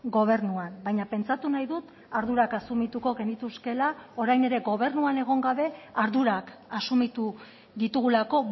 gobernuan baina pentsatu nahi dut ardurak asumituko genituzkeela orain ere gobernuan egon gabe ardurak asumitu ditugulako